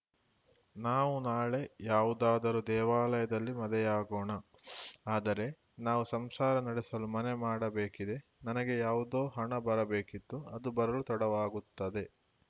ನಾವು ನಾಳೆ ಯಾವುದಾದರೂ ದೇವಾಲಯದಲ್ಲಿ ಮದುವೆಯಾಗೋಣ ಆದರೆ ನಾವು ಸಂಸಾರ ನಡೆಸಲು ಮನೆ ಮಾಡಬೇಕಿದೆ ನನಗೆ ಯಾವುದೋ ಹಣ ಬರಬೇಕಿತ್ತು ಅದು ಬರಲು ತಡವಾಗುತ್ತದೆ